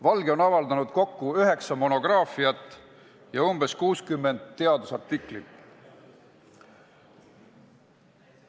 Valge on avaldanud üheksa monograafiat ja umbes 60 teadusartiklit.